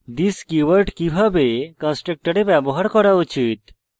this keyword কিভাবে কন্সট্রকটরে ব্যবহার করা উচিত